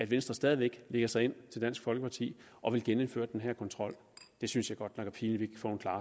venstre stadig væk lægger sig ind til dansk folkeparti og vil genindføre den her kontrol det synes jeg godt nok er pinligt